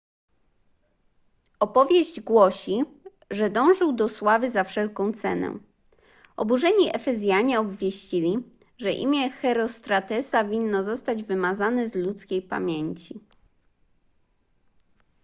opowieść głosi że dążył do sławy za wszelką cenę oburzeni efezjanie obwieścili że imię herostratesa winno zostać wymazane z ludzkiej pamięci